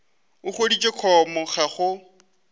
o hwetše com ya gago